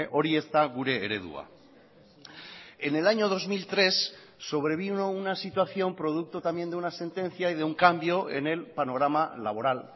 hori ez da gure eredua en el año dos mil tres sobrevino una situación producto también de una sentencia y de un cambio en el panorama laboral